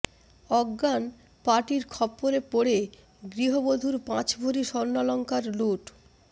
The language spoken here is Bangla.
অজ্ঞান পার্টির খপ্পরে পড়ে গৃহবধূর পাঁচ ভরি স্বর্ণালংকার লুট